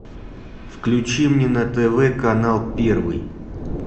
включи мне на тв канал первый